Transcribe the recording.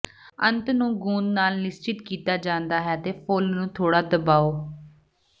ਅੰਤ ਨੂੰ ਗੂੰਦ ਨਾਲ ਨਿਸ਼ਚਿਤ ਕੀਤਾ ਜਾਂਦਾ ਹੈ ਅਤੇ ਫੁੱਲ ਨੂੰ ਥੋੜਾ ਦਬਾਓ